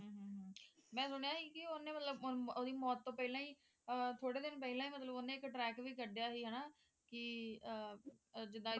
ਮੈਂ ਸੁਣਿਆ ਸੀ ਓਹਨੇ ਮਤਲਬ ਓਹਦੀ ਮੌਤ ਤੋਂ ਪਹਿਲਾ ਹੀ ਥੋੜੇ ਦਿਨ ਪਹਿਲਾਂ ਹੀ ਥੋੜੇ ਦਿਨ ਪਹਿਲਾਂ ਹੀ ਮਤਲਬ ਓਹਨੇ ਇੱਕ track ਵੀ ਕੱਢਿਆ ਸੀ ਹੈ ਨਾ ਕਿ ਆ ਜਿੱਦਾਂ